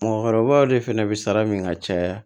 Mɔgɔkɔrɔbaw de fana bɛ sara min ka caya